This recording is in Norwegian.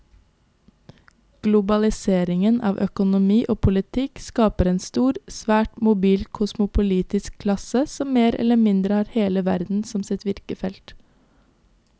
Globaliseringen av økonomi og politikk skaper en stor, svært mobil kosmopolitisk klasse som mer eller mindre har hele verden som sitt virkefelt.